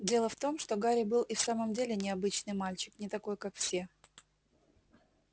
дело в том что гарри был и в самом деле необычный мальчик не такой как все